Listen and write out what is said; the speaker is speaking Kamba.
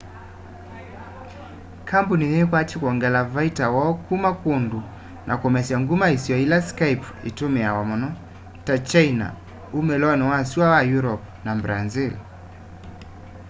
kambuni yiikwatya kwongela vaita woo kuma kundu na kumesya nguma isio ila skype itumiawa muno ta kyaina umiloni wa sua wa europe na brazil